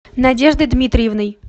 надеждой дмитриевной